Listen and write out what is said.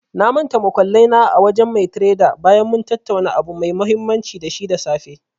Na mantal muƙullai na a wajen mai tredar bayan mun tattauna abu mai mahimmanci da shi da safe.